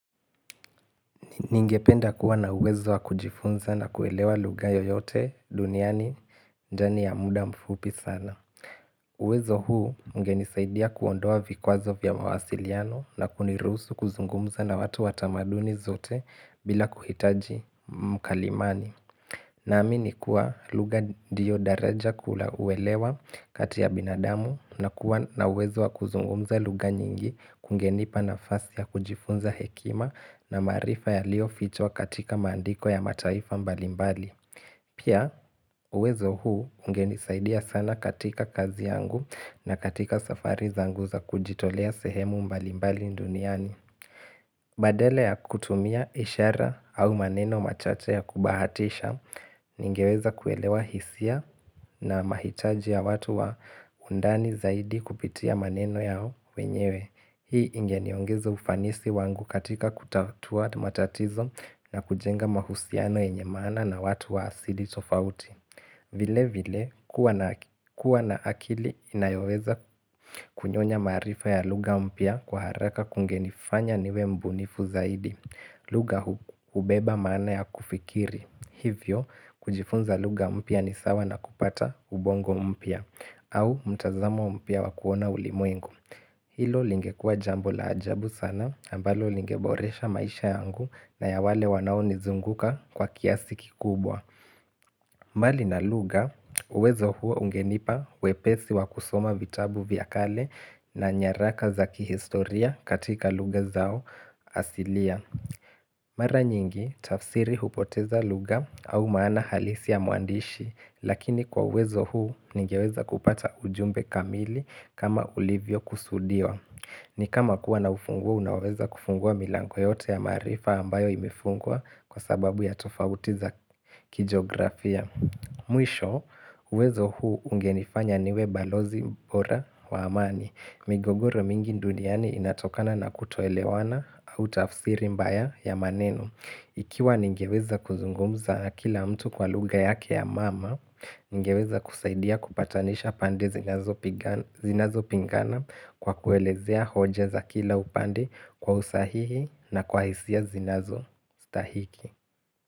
Ningependa kuwa na uwezo wa kujifunza na kuelewa lugha yoyote duniani ndani ya muda mfupi sana. Uwezo huu ugenisaidia kuondoa vikwazo vya mawasiliano na kunirusu kuzungumza na watu watamaduni zote bila kuhitaji mkalimani. Na amini kuwa lugha ndiyo daraja kula uwelewa kati ya binadamu na kuwa na uwezo wa kuzungumza lugha nyingi kungenipa na fasi ya kujifunza hekima na maarifa yalio fichwa katika maandiko ya mataifa mbalimbali. Pia uwezo huu ungenisaidia sana katika kazi yangu na katika safari zangu za kujitolea sehemu mbalimbali nduniani. Badala ya kutumia ishara au maneno machache ya kubahatisha ningeweza kuelewa hisia na mahitaji ya watu wa undani zaidi kupitia maneno yao wenyewe. Hii ingeniongezo ufanisi wangu katika kutatua matatizo na kujenga mahusiano enye maana na watu wa asili tofauti. Vile vile kuwa na akili inayoweza kunyonya maarifa ya lugha mpya kwa haraka kungenifanya niwe mbunifu zaidi lugha hubeba maana ya kufikiri Hivyo kujifunza lugha mpya ni sawa na kupata ubongo mpya au mtazamo mpya wa kuona ulimwengu Hilo lingekua jambo la ajabu sana ambalo lingeboresha maisha yangu na ya wale wanao nizunguka kwa kiasi kikubwa mbali na lugha uwezo huo ungenipa wepesi wakusoma vitabu vyakale na nyaraka za kihistoria katika lugha zao asilia Mara nyingi tafsiri hupoteza lugha au maana halisi ya mwandishi Lakini kwa uwezo huu nigeweza kupata ujumbe kamili kama ulivyo kusudiwa ni kama kuwa na ufunguo unaweza kufungua milango yote ya maarifa ambayo imefungwa kwa sababu ya tofautiza kijografia Mwisho, uwezo huu ungenifanya niwe balozi bora wa amani migogoro mingi duniani inatokana na kutoelewana au tafsiri mbaya ya maneno Ikiwa ningeweza kuzungumza akila mtu kwa lugha yake ya mama Ningeweza kusaidia kupatanisha pande zinazo pingana kwa kuelezea hoja za kila upande kwa usahihi na kwa hisia zinazo stahiki.